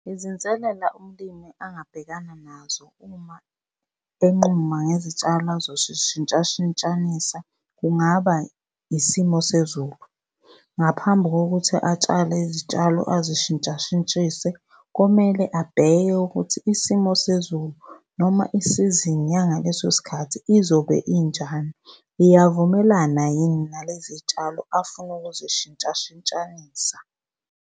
Izinselela umlimi angabhekana nazo uma enquma ngezitshalo azozishintshashintshanisa kungaba isimo sezulu. Ngaphambi kokuthi atshale izitshalo azishintshashintshise, komele abheke ukuthi isimo sezulu noma isizini yangaleso sikhathi izobe injani. Iyavumelana yini nalezi tshalo afuna ukuzishintshashintsha?